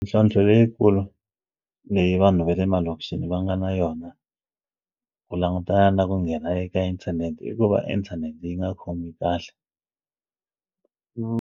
Mintlhontlho leyikulu leyi vanhu ve le malokixini va nga na yona ku langutana na ku nghena eka inthanete i ku va inthanete yi nga khomi kahle .